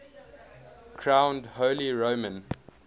crowned holy roman